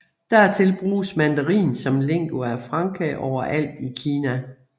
Dertil bruges mandarin som lingua franca overalt i Kina